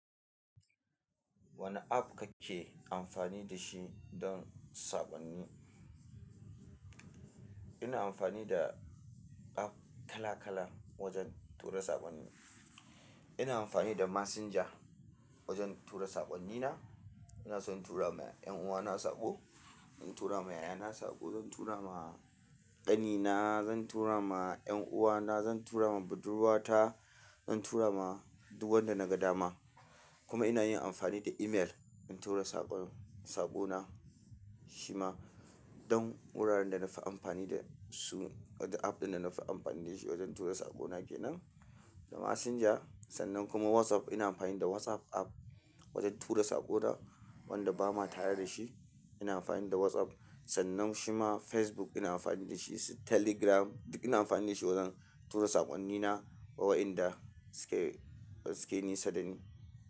Wane app kake amfani da shi don saqonni? Ina amfani da app kala-kala wajen tura saqonni. Ina anfani da messager wajen tura saqonni na ina son tura ma 'yan uwana saqo. In tura ma yayana saqo, zan tura ma qanina zan turama ƴan'uwana zan turama budurwata zan turama duk wanda naga dama kuma ina yin amfani da email in tura saqon-- saqona shi ma don wuraren da na fi amfani da su, wato app ɗin da na fi amfani da shi wajen tura saqona kenan, da messenger sannan kuma WhatsApp. Ina amfani da WhatsApp app wajen tura saƙo na wanda ba ma tare da shi. Ina amfani da WhatsApp sannan shi ma Facebook ina amfani da shi, telegram duk ina amfani da shi wajen tura saqonni na wa waɗanda suke, suke nisa dani.